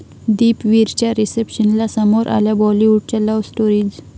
दीपवीरच्या रिसेप्शनला समोर आल्या बाॅलिवूडच्या लव्ह स्टोरीज!